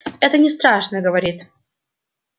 это не страшно говорит